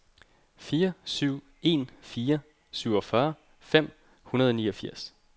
fire syv en fire syvogfyrre fem hundrede og niogfirs